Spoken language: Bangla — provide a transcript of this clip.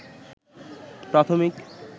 প্রাথমিক